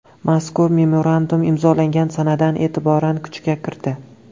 Mazkur memorandum imzolangan sanadan e’tiboran kuchga kirdi.